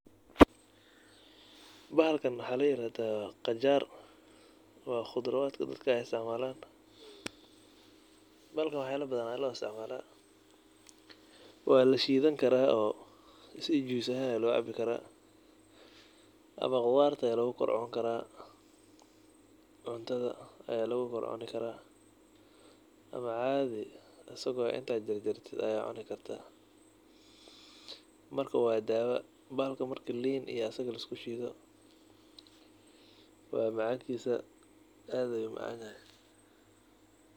Bahalkan waxa layirahda qajaar wa cudarta dadka isticmalan, bahalkan faido badan ayu leyaha. Walashidani karaa ama qudarta aya lugukorcuni karaa oo cuntada aya lugukorcuni karaa ama cadii inta ujarjartid ayad cuni karta bahalkan inta asaga iyo liin iskudartid wa aad ayu umacan yahay.